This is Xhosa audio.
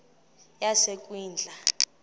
yasekwindla